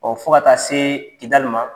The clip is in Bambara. fo ka taa se Kidali ma